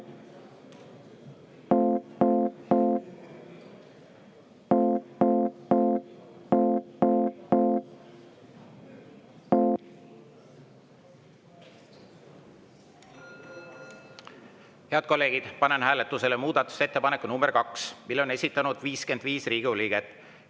Head kolleegid, panen hääletusele muudatusettepaneku nr 2, mille on esitanud 55 Riigikogu liiget.